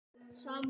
Hún er líka kát.